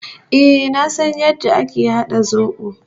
Eh, na san yadda ake hada zobo.